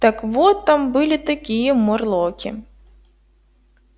так вот там были такие морлоки